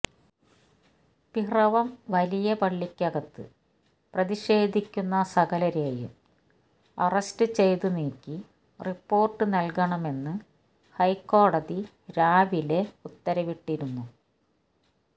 പിറവം വലിയ പള്ളിക്കകത്ത് പ്രതിഷേധിക്കുന്ന സകലരെയും അറസ്റ്റ് ചെയ്ത നീക്കി റിപ്പോര്ട്ട് നല്കണമെന്ന് ഹൈക്കോടതി രാവിലെ ഉത്തരവിട്ടിരുന്നു